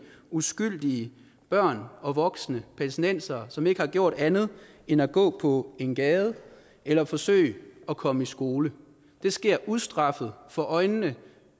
uskyldige børn og voksne palæstinensere som ikke har gjort andet end at gå på en gade eller forsøge at komme i skole det sker ustraffet for øjnene